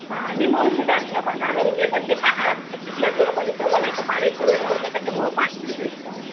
हां मी मुळशी डॅमला पण जाणार होते पण ते तिथल्या लोकांनी नाही का पाणी सोडलं होतं मग त्याच्यामुळं